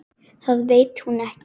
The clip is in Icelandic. Það veit hún ekki.